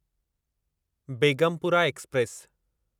Begumpura express